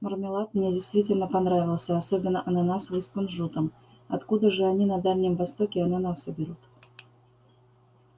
мармелад мне действительно понравился особенно ананасовый с кунжутом откуда же они на дальнем востоке ананасы берут